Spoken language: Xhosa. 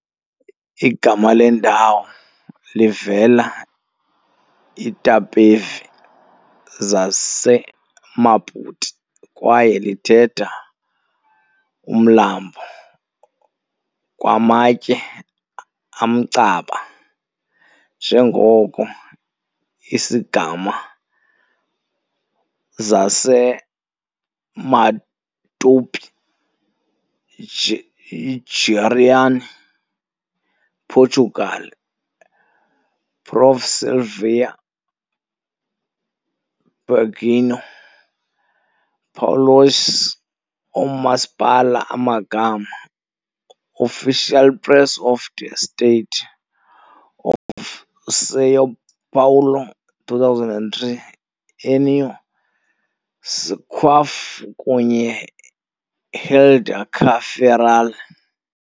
Igama lendawo livela Itapevi zaseMatupi kwaye lithetha "umlambo kwamatye amcaba", njengoko i "Isigama zaseMatupi-Guarani - Portugal" Prof Silveira Bueno, Paulistas Oomasipala Amagama", Official Press of the State of São Paulo, 2003, Enio Squeff kunye Helder car Ferreira.